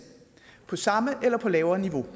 på samme eller på lavere niveau